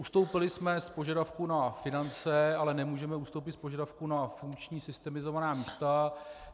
Ustoupili jsme od požadavku na finance, ale nemůžeme ustoupit od požadavku na funkční systemizovaná místa.